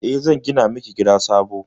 E, zan gina miki gida sabo.